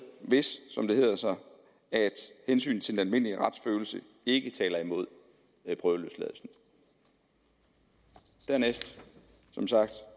hvis som det hedder sig hensynet til den almindelige retsfølelse ikke taler imod prøveløsladelsen dernæst